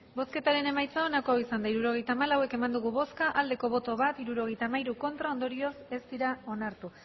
hirurogeita hamalau eman dugu bozka bat bai hirurogeita hamairu ez ondorioz ez dira onartu